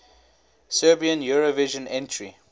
serbian eurovision entry